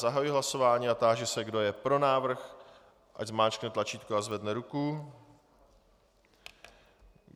Zahajuji hlasování a táži se, kdo je pro návrh, ať zmáčkne tlačítko a zvedne ruku.